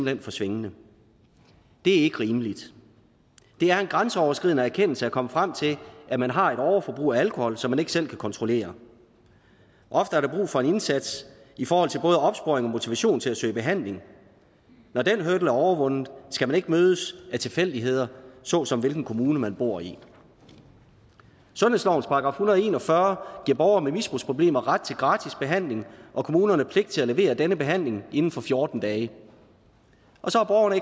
hen for svingende det er ikke rimeligt det er en grænseoverskridende erkendelse at komme frem til at man har et overforbrug af alkohol som man ikke selv kan kontrollere ofte er der brug for en indsats i forhold til både opsporing og motivation til at søge behandling når den hurdle er overvundet skal man ikke mødes af tilfældigheder såsom hvilken kommune man bor i sundhedslovens § og en og fyrre giver borgere med misbrugsproblemer ret til gratis behandling og kommunerne pligt til at levere denne behandling inden for fjorten dage så har